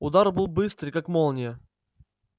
удар был быстрый как молния